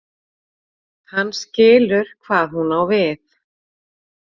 Hann skilur hvað hún á við.